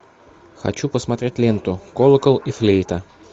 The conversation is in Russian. хочу посмотреть ленту колокол и флейта